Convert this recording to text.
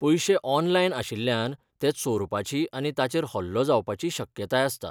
पयशे 'ऑनलायन' आशिल्ल्यान, ते चोरपाची आनी ताचेर हल्लो जावपाची शक्यताय आसता.